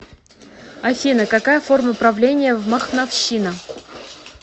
афина какая форма правления в махновщина